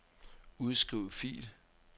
Udskriv fil.